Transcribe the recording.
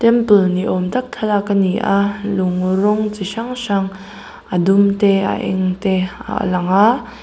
temple ni awm tak thalak a ni a lung rawng chi hrang hrang a dum te a eng te a lang a.